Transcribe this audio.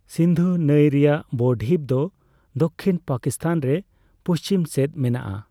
ᱥᱤᱱᱫᱷᱩ ᱱᱟᱹᱭ ᱨᱮᱭᱟᱜ ᱵᱚᱼᱰᱷᱤᱯ ᱫᱚ ᱫᱚᱠᱠᱷᱤᱱ ᱯᱟᱠᱤᱥᱛᱷᱟᱱ ᱨᱮ ᱯᱩᱪᱷᱤᱢ ᱥᱮᱫ ᱢᱮᱱᱟᱜᱼᱟ ᱾